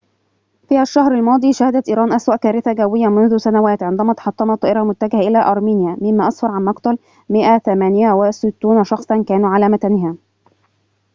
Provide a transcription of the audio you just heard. في الشهر الماضي شهدت إيران أسوأ كارثة جوية منذ سنوات عندما تحطمت طائرة متجهة إلى أرمينيا مما أسفر عن مقتل 168 شخصاً كانوا على متنها